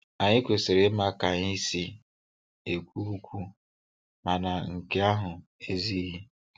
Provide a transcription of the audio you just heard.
Anyị kwesịrị ịma ka anyị si ekwu okwu, mana nke ahụ ezughị.